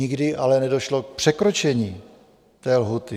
Nikdy ale nedošlo k překročení té lhůty.